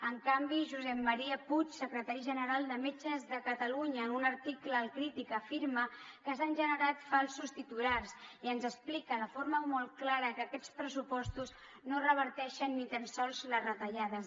en canvi josep maria puig secretari general de metges de catalunya en un article a crític afirma que s’han generat falsos titulars i ens explica de forma molt clara que aquests pressupostos no reverteixen ni tan sols les retallades